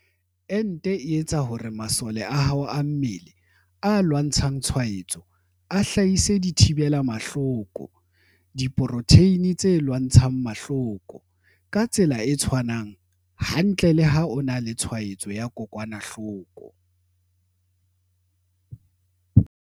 Ente e etsa hore masole a hao a mmele, a lwantshang tshwaetso, a hlahise dithi bela mahloko, diporotheine tse lwantshang mahloko, - ka tsela e tshwanang hantle le ha o na le tshwaetso ya kokwanahloko.